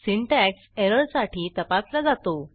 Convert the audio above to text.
syntax एररसाठी तपासला जातो